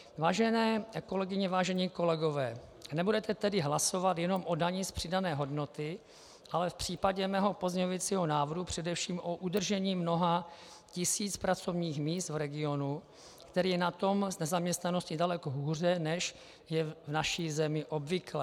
Vážené kolegyně, vážení kolegové, nebudete tedy hlasovat jenom o dani z přidané hodnoty, ale v případě mého pozměňovacího návrhu především o udržení mnoha tisíc pracovních míst v regionu, který je na tom s nezaměstnaností daleko hůře, než je v naší zemi obvyklé.